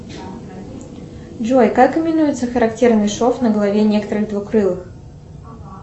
джой как именуется характерный шов на голове некоторых двукрылых